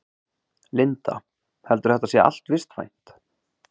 Linda: Heldurðu að þetta sé allt vistvænt?